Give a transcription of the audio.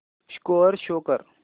score show कर